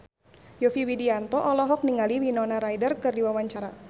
Yovie Widianto olohok ningali Winona Ryder keur diwawancara